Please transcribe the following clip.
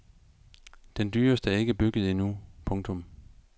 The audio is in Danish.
Den dyreste er ikke bygget endnu. punktum